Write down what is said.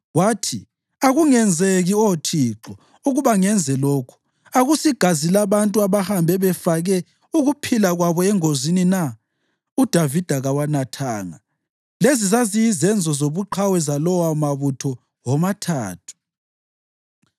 Wathi, “Akungenzeki, Oh Thixo, ukuba ngenze lokhu. Akusigazi labantu abahambe befake ukuphila kwabo engozini na?” UDavida kawanathanga. Lezi zaziyizenzo zobuqhawe zalawomabutho womathathu.